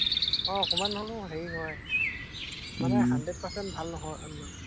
আহ অকনমান হলেও হেৰি হয়, উম মানে হাণ্ড্ৰেট পাৰ্চেণ্ট ভাল নহয় এৰ